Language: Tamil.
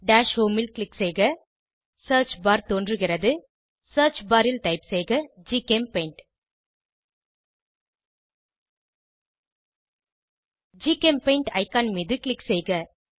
டாஷ் ஹோம் ல் க்ளிக் செய்க சியர்ச் பார் தோன்றுகிறது சியர்ச் பார் ல் டைப் செய்க ஜிசெம்பெயிண்ட் ஜிசெம்பெயிண்ட் ஐகான் மீது க்ளிக் செய்க